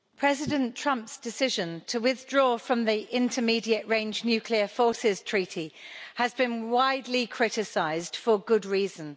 Mr President, President Trump's decision to withdraw from the Intermediate range Nuclear Forces Treaty has been widely criticised, for good reason.